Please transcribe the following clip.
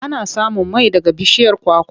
Ana samun mai daga bishiyar kwakwa.